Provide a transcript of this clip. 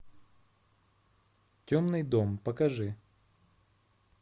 темный дом покажи